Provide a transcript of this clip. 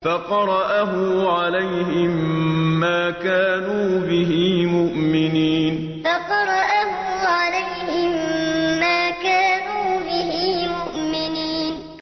فَقَرَأَهُ عَلَيْهِم مَّا كَانُوا بِهِ مُؤْمِنِينَ فَقَرَأَهُ عَلَيْهِم مَّا كَانُوا بِهِ مُؤْمِنِينَ